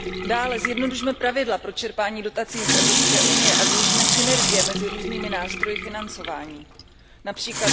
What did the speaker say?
Dále zjednodušme pravidla pro čerpání dotací z EU a využijme synergie mezi různými nástroji financování, např.